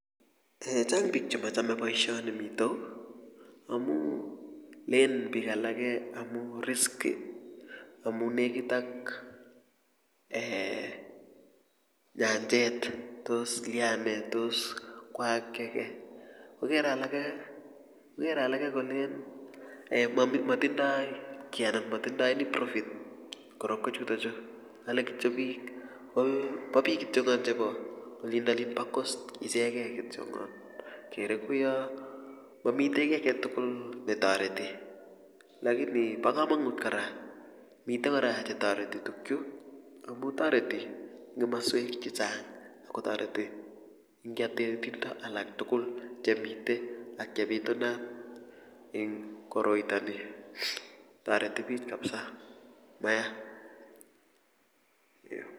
[eeeh] chang bik chemachome boisioni mitei yu amu len bik alake amu risky amu nekit ak [eeeh] nyanjet tos lia ne tos kwaak kiy ake kokere alake kole matindoi kiy anan matindoi profit korokwechutochu alen kityo kii kobo bik kityo chebo olindolin bo coast ichekei kityongon kere kouiyo mamite kiy aketugul netoreti lakini bo komonut kora mitei kora chetoreti tukyu amu toreti eng kimaswek chechang ago toreti engiatet alaktugul chemite ak chebitunat eng koroitoni toreti biik kapsa mayaa.